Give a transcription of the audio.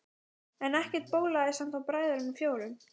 En ekkert bólaði samt á bræðrunum fjórum.